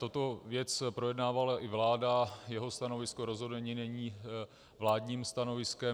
Tuto věc projednávala i vláda, jeho stanovisko rozhodně není vládním stanoviskem.